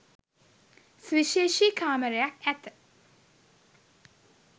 සුවිශේෂී කාමරයක් ඇත.